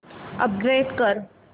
upgrade कर